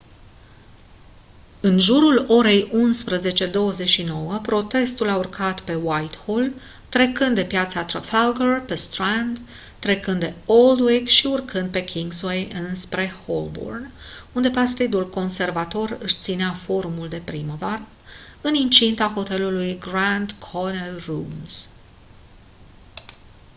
în jurul orei 11:29 protestul a urcat pe whitehall trecând de piața trafalgar pe strand trecând de aldwych și urcând pe kingsway înspre holborn unde partidul conservator își ținea forumul de primăvară în incinta hotelului grand connaught rooms